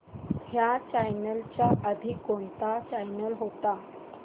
ह्या चॅनल च्या आधी कोणता चॅनल होता